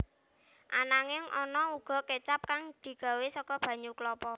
Ananging ana uga kécap kang digawé saka banyu klapa